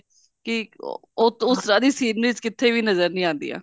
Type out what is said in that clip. ਕਿ ਉਹ ਸਾਰੀ scenery ਕਿਤੇ ਵੀ ਨਜਰ ਨਹੀਂ ਆਉਂਦੀਆਂ